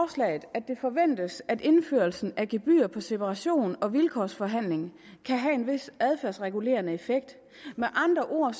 at det forventes at indførelsen af gebyrer på separation og vilkårsforhandling kan have en vis adfærdsregulerende effekt med andre ord